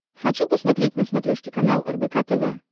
хочу посмотреть на смотрешке канал рбк тв